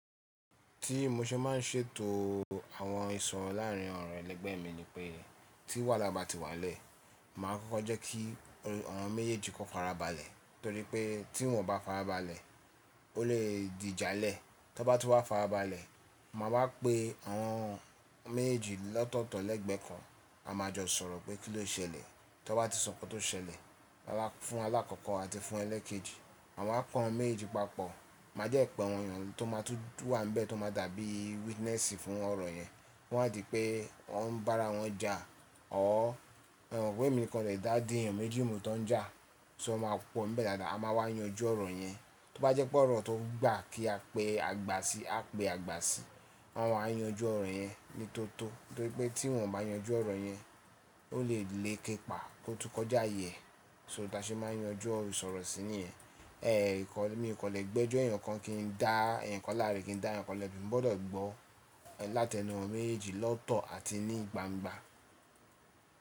Tí mo ṣe má ń ṣètò àwọn ìsọ̀rọ̀ láàárín ọ̀rọ̀ ẹlẹ́gbẹ̀ẹ́ mi ni pé, tí wàhálà bá ti wá lẹ̀, màá kọ́kọ́ jẹ́ kí awon méjèèjì kóko farabalẹ̀, torí pé tí won bá farabalẹ̀, ó lè di ijá lẹ̀. Tọ bá ti wá farabalẹ̀, màá bá pé awon méjì lọ́tọ̀ọ̀tọ̀ lẹ́gbẹ̀ẹ́ kan. A máa jọ sọ̀rọ̀ pé kí ló ṣẹlẹ̀, tọ bá ti sọ nkan tó ṣẹlẹ̀, màá fún alákọ̀ọ́kọ́ àti fún ẹlẹ́kẹ́jì. A máa ko awon méjì papọ̀, má jẹ́ pẹ́ awon èyàn tó máa tú wà níbẹ̀, tó máa dàbí witness fún ọ̀rọ̀ yẹn. Ko máa di pé wọń bá ara wọn jà or emo pe emi nìkan ko lè dá di èèyàn méjì mú tó ń jà, so won ma pọ́ ńibẹ dáadáa. A máa wá yanjú ọ̀rọ̀ yẹn. Tọ bá jẹ́ pé ọ̀rọ̀ tó gbà kí a pe àgbà sí, a pe àgbà sí. O máa yanju ọ̀rọ̀ yẹn ní toto, torí pé tí n ò bá yanjú ọ̀rọ̀ yẹn ó lè léke ìpà kó tún kọjá iyèẹ́. So ba ṣe màá yanjú ọ̀rọ̀ ìsọ̀rọ̀ sí níyẹn. Ẹ̀ẹ̀, mì kọ le gbẹ́jọ́ èèyàn kan, kí n dá èèyàn kan láre, kí n dá èèyàn kan lẹ́bi, ń gbọ́dọ̀ gbó látẹnu awon méjì lọ́tọ̀ọ̀tọ̀ àti ní ìgbangban.